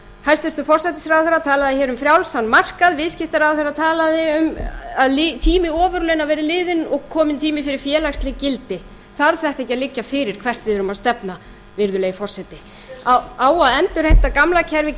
hæstvirtur forsætisráðherra talaði hér um frjálsan markað viðskiptaráðherra talaði um að tími ofurlauna væri liðinn og kominn tími fyrir félagsleg gildi þarf þetta ekki að liggja fyrir hvert við erum að stefna virðulegi forseti á að endurheimta gamla kerfið